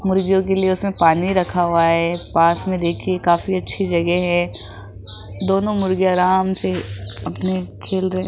मुर्गियों के लिए उसमें पानी रखा हुआ है पास मे देखिये काफी अच्छी जगह है दोनों मुर्गी आराम से अपने खेल रहे --